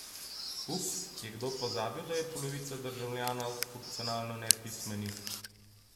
Ups, je kdo pozabil, da je polovica državljanov funkcionalno nepismenih?